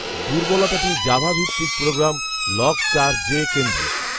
দুর্বলতাটি Java ভিত্তিক program ‘log চারজে’ কেন্দ্রিক